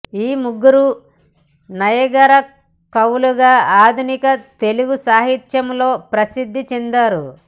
ఈ ముగ్గురూ నయగారా కవులుగా ఆధునిక తెలుగు సాహిత్యములో ప్రసిద్ధి చెందారు